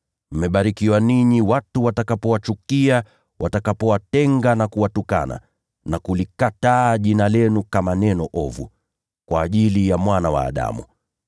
Mmebarikiwa ninyi, watu watakapowachukia, watakapowatenga na kuwatukana na kulikataa jina lenu kama neno ovu, kwa ajili ya Mwana wa Adamu.